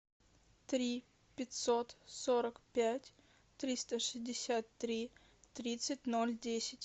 три пятьсот сорок пять триста шестьдесят три тридцать ноль десять